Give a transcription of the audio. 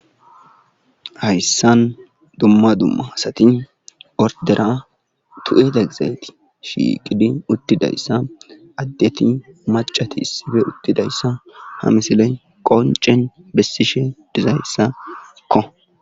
Hayssan dumma dumma asati ordera tulida gizayti shiiqidi uttida issa addeti macati issippe uttida issa ha misiley qoncen bessishe diza issakko.